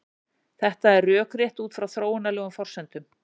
Þetta er rökrétt út frá þróunarlegum forsendum.